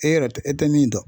E yɛrɛ tɛ e tɛ min dɔn.